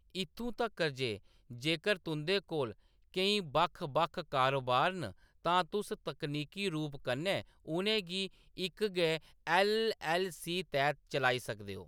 इत्थूं तक्कर जे जेकर तुंʼदे कोल केईं बक्ख-बक्ख कारोबार न, तां तुस तकनीकी रूप कन्नै उʼनेंगी इक गै एल. एल. सी. तैह्‌‌‌त चलाई सकदे ओ।